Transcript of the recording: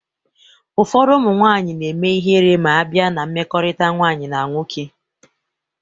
Ụfọdụ ụmụ nwanyị na-eme ịhere ma a bịa na mmekọrịta nwanyị na nwoke